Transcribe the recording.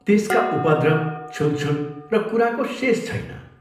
त्यसका उपद्रव, छुलछुल र कुराको शेष छैन।